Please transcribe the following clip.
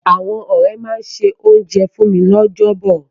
Àwọn ọ̀rẹ́ máa se oúnjẹ fún mi lọ́jọ́ bọ̀.